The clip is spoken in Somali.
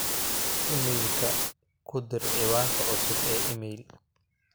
iimaylka ku dir ciwaanka cusub ee iimayl